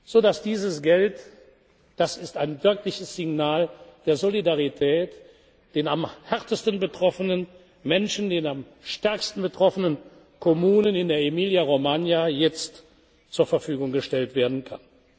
vor wenigen Minuten unterschrieben, sodass dieses Geld das ist ein wirkliches Signal der Solidarität den am härtesten betroffenen Menschen, den am stärksten betroffenen Kommunen in der Emilia Romagna